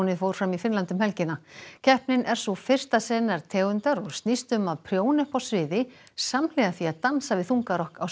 fór fram í Finnlandi um helgina keppnin er sú fyrsta sinnar tegundar og snýst um að prjóna uppi á sviði samhliða því að dansa við þungarokk á sem